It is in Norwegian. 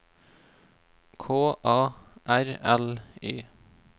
K A R L Y